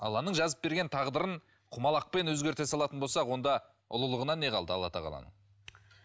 алланың жазып берген тағдырын құмалақпен өзгерте салатын болсақ онда ұлылығынан не қалды алла тағаланың